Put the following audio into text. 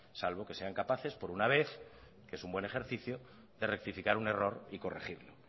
salvo que sean capaces por una vez que es un buen ejercicio de rectificar un error y corregirlo